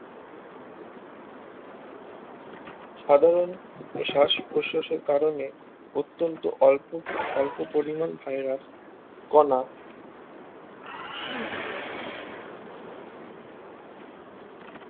সাধারন শ্বাস প্রশ্বাসের কারনে অত্যন্ত অল্প স্বল্প পরিমান ভাইরাস কণা